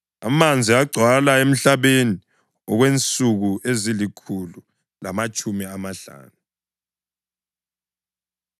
Amanzi agcwala emhlabeni okwensuku ezilikhulu lamatshumi amahlanu.